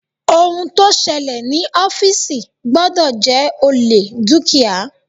Ohun tó ṣẹlẹ̀ ní ọ́fìsì gbọ́dọ̀ jẹ́ olè dúkìá.